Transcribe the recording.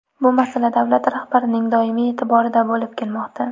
Bu masala davlat rahbarining doimiy e’tiborida bo‘lib kelmoqda.